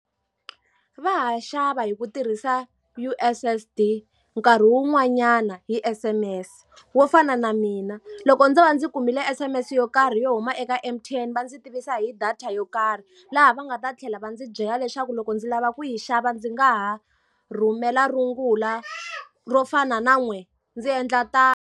Va ha xava hi ku tirhisa U_S_S_D, nkarhi wun'wanyana hi S_M_S. Wo fana na mina, loko ndzo va ndzi kumile S_M_S yo karhi yo huma eka M_T_N va ndzi tivisa hi data yo karhi, laha va nga ta tlhela va ndzi byela leswaku loko ndzi lava ku yi xava ndzi nga ha rhumela rungula ro fana na n'we, ndzi endla tano.